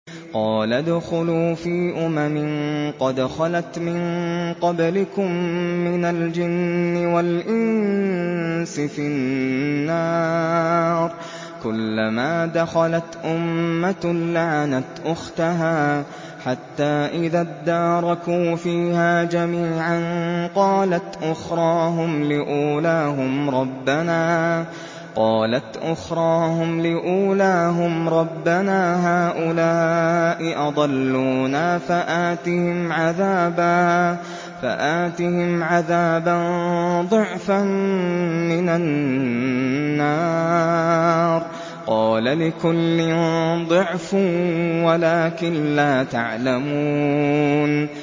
قَالَ ادْخُلُوا فِي أُمَمٍ قَدْ خَلَتْ مِن قَبْلِكُم مِّنَ الْجِنِّ وَالْإِنسِ فِي النَّارِ ۖ كُلَّمَا دَخَلَتْ أُمَّةٌ لَّعَنَتْ أُخْتَهَا ۖ حَتَّىٰ إِذَا ادَّارَكُوا فِيهَا جَمِيعًا قَالَتْ أُخْرَاهُمْ لِأُولَاهُمْ رَبَّنَا هَٰؤُلَاءِ أَضَلُّونَا فَآتِهِمْ عَذَابًا ضِعْفًا مِّنَ النَّارِ ۖ قَالَ لِكُلٍّ ضِعْفٌ وَلَٰكِن لَّا تَعْلَمُونَ